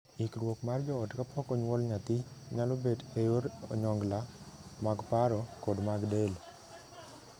Ikruok mar joot kapok onyuol nyathi nyalo bet e yor onyongla, mag paro, kod mag del.